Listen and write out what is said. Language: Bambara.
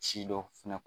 Si dɔ fɛnɛ